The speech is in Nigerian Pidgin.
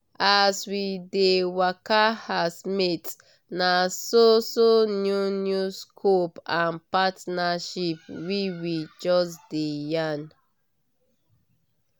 as we dey waka as mates naso so new new scopes and partnership we we just dey yan